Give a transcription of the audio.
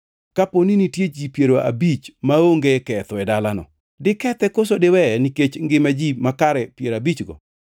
Kaponi nitie ji piero abich maonge ketho e dalano? Dikethe koso diweye nikech ngima ji makare piero abichgo?